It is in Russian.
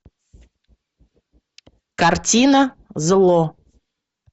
картина зло